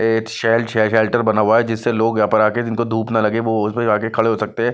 एक शेल-शेल्टर बना हुआ है जिससे लोग यहाँ पर आकर जिनको धूप ना लगे वो उसमें जाके खड़े हो सकते हैं।